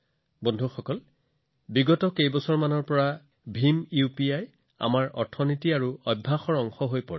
বন্ধুসকল বিগত কেইবছৰমানত ভীম ইউপিআই দ্ৰুতগতিত আমাৰ অৰ্থনীতি আৰু অভ্যাসৰ অংশ হৈ পৰিছে